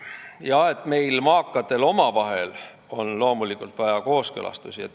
Loomulikult on meil, maakatel, vaja omavahelisi kooskõlastusi.